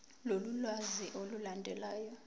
lolu lwazi olulandelayo